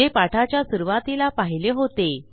जे पाठाच्या सुरूवातीला पाहिले होते